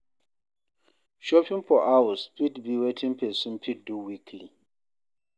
Shopping for house fit be wetin person fit do weekly